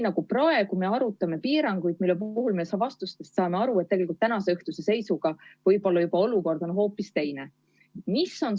Praegu me arutame piiranguid, aga teie vastustest me saame aru, et tegelikult võib täna õhtul olukord olla juba hoopis teine.